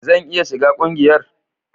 Zan iya shiga ƙungiyar?